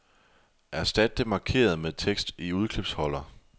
Erstat det markerede med tekst i udklipsholder.